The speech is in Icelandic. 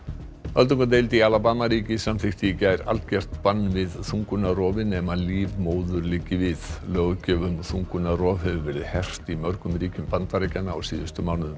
öldungadeild í Alabama ríki samþykkti í gær algert bann við þungunarrofi nema líf móður liggi við löggjöf um þungunarrof hefur verið hert í mörgum ríkjum Bandaríkjanna á síðustu mánuðum